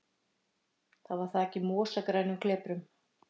Það var þakið mosagrænum kleprum.